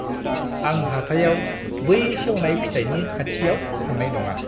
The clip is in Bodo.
आं हाथाइआव बै सेवनाय फिथाइनि खाथियाव थांनाय नङा।